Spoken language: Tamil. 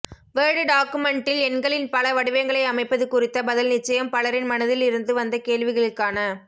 வேர்ட் டாகுமெண்ட்டில் எண்களின் பல வடிவங்களை அமைப்பது குறித்த பதில் நிச்சயம் பலரின் மனதில் இருந்து வந்த கேள்விகளுக்கான